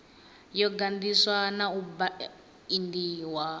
yo ganḓiswa na u baindiwa